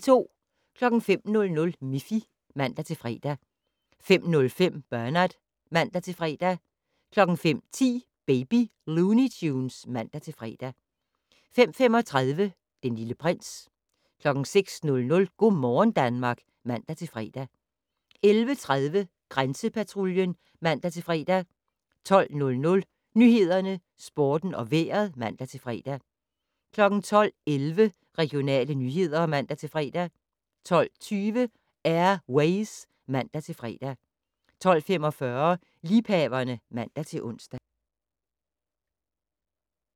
05:00: Miffy (man-fre) 05:05: Bernard (man-fre) 05:10: Baby Looney Tunes (man-fre) 05:35: Den Lille Prins 06:00: Go' morgen Danmark (man-fre) 11:30: Grænsepatruljen (man-fre) 12:00: Nyhederne, Sporten og Vejret (man-fre) 12:11: Regionale nyheder (man-fre) 12:20: Air Ways (man-fre) 12:45: Liebhaverne (man-ons)